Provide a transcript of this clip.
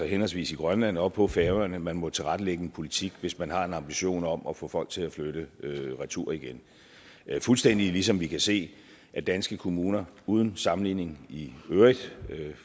henholdsvis i grønland og på færøerne at man må tilrettelægge en politik hvis man har en ambition om at få folk til at flytte retur igen fuldstændig ligesom vi kan se at danske kommuner uden sammenligning i øvrigt